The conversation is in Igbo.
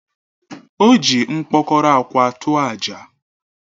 O ji mkpokoró akwa tụọ àjà.